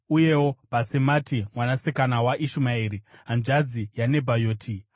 uyewo Bhasemati mwanasikana waIshumaeri, hanzvadzi yaNebhayoti.